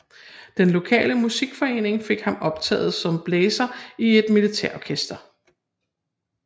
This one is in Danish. Den lokale musikforening fik ham optaget som blæser i et militærorkester